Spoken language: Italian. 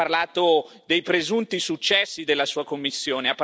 Lei ha parlato dei presunti successi della Sua Commissione.